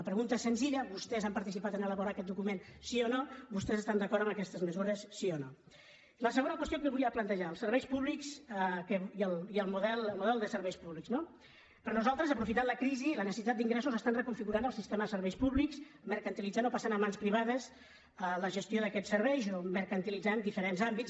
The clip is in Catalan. la pregunta és senzilla vostès han participat en elaborar aquest document sí o no vostès estan d’acord amb aquestes mesures sí o no la segona qüestió que volia plantejar els serveis públics el model de serveis públics no per a nosaltres aprofitant la crisi la necessitat d’ingressos estan reconfigurant el sistema de serveis públics mercantilitzant o passant a mans privades la gestió d’aquests serveis o mercantilitzant diferents àmbits